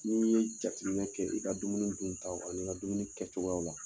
N'i ye jatiminɛ kɛ i ka dumuni duntaw ani ka dumuni kɛcogoyaw la